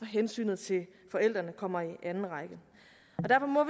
hensynet til forældrene kommer i anden række derfor må